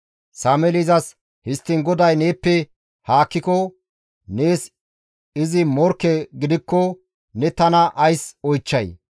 Sameeli izas, «Histtiin GODAY neeppe haakkiko, nees izi morkke gidikko ne tana ays oychchay?